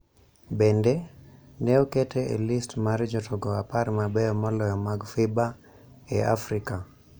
Bende, ne okete e list mar jotugo apar mabeyo moloyo mag FIBA ??e Afrika